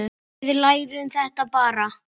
Við lærum þetta bara.